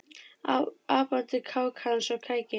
Apandi kák hans og kæki